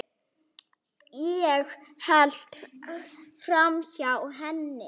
Ég hélt framhjá henni.